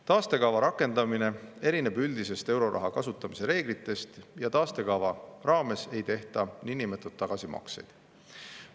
Taastekava rakendamine erineb üldistest euroraha kasutamise reeglitest ja taastekava raames ei tehta niinimetatud tagasimakseid.